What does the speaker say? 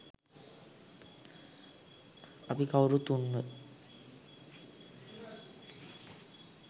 අපි කවුරුත් උන්ව